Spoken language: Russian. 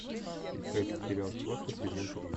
искать сериал схватка сезон три